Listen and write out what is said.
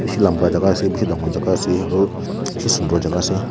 bishi lamba jaga ase bishi dangor jaga ase aro bishi sundor jaga ase.